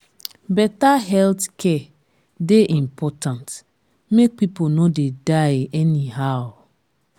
better healthcare dey important make people no dey die anyhow.